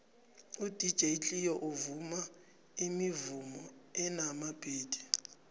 udj cleo uvuma imivumo enamabhithi